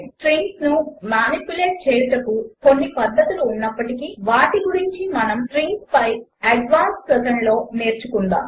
స్ట్రింగ్స్ను manipulate చేయుటకు కొన్ని పద్ధతులు ఉన్నప్పటికీ వాటి గురించి మనము స్ట్రింగ్స్పై అడ్వాన్స్డ్ సెషన్లో నేర్చుకుందాము